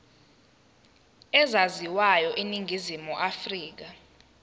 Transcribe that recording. ezaziwayo eningizimu afrika